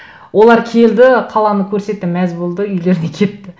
олар келді қаланы көрсетті мәз болды үйлеріне кетті